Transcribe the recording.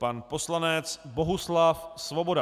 Pan poslanec Bohuslav Svoboda.